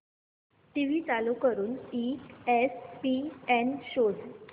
TV चालू करून ESPN शोध